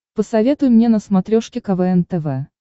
посоветуй мне на смотрешке квн тв